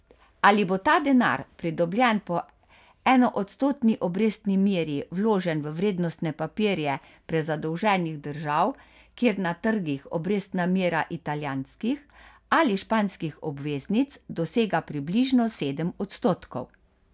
Ali bo ta denar, pridobljen po enoodstotni obrestni meri, vložen v vrednostne papirje prezadolženih držav, kjer na trgih obrestna mera italijanskih ali španskih obveznic dosega približno sedem odstotkov?